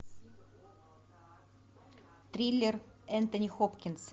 триллер энтони хопкинса